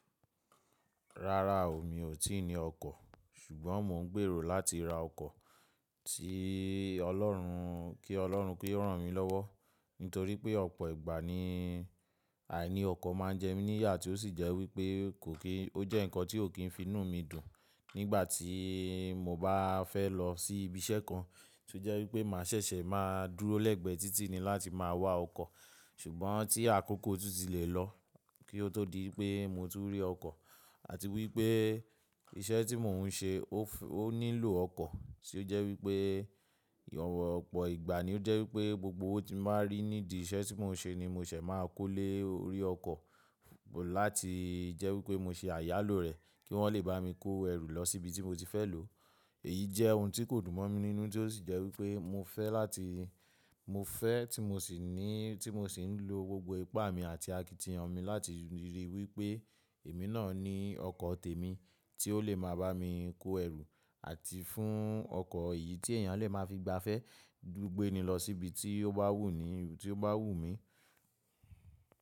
Rárá o, mi ò tí ì ní ọkọ̀. Ṣùgbọ́n mo ń gbèrò láti ra ọkọ̀ tí Ọlọ́run kí Ọlọ́run kí ó ràn mí lọ́wọ́. Nítorí pé ọ̀pọ̀ ìgbà ni àìní ọkọ̀ máa ń jẹ mí níyà tí ó sì jẹ́ wípé kò kí ó jẹ́ ǹkan tí ò kín fi inú mi dùn. Nígbà tí mo bá fẹ́ lọ sí ibi iṣẹ́ kan, tí ó jẹ́ wípé mà ṣẹ̀ṣẹ̀ máa dúró lẹ́gbẹ̀ẹ́ títì ni láti máa wá ọkọ̀. Ṣùgbọ́n tí àkókò tún ti lè lọ kí ó tó di pé mo ti rí ọkọ̀ àti wípé iṣẹ́ tí mò ń ṣe ó nílò ọkọ̀, tí ó jẹ́ wípé ọ̀pọ̀ ìgbà ni ó jẹ́ wípé gbogbo tí máa ń rí nídìí iṣẹ́ tí mò ń ṣe ni mo ṣẹ̀ máa kó lé orí ọkọ̀ láti jẹ́ wípé mo ṣe àyálòrẹ kí wọ́n lè bá mi kó ẹrù lọ síbi tí mo ti fẹ́ lò ó. Èyí jẹ́ ohun tí kò dùn mọ́ mi nínú tí ó sì jẹ́ wípé mo fẹ́ láti mo fẹ́ tí mo sì ní tí mo sì ń lo gbogbo ipá mi àti akitiyan mi láti rí wípé èmi náà ni ọkọ̀ tèmi tí ó lè máa bá mi kó ẹrù àti fún ọkọ̀ èyí tí èèyàn lè má fi gbafẹ́ gbéni lọ síbi tí ó bá wù ni tí ó bá wù mí.